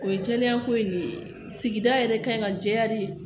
O ye jɛlenya ko in de ye sigida yɛrɛ kan ka jɛya de